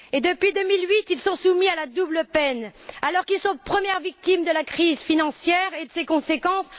Depuis 2008, ils sont soumis à la double peine, alors qu'ils sont les premières victimes de la crise financière et de ses conséquences.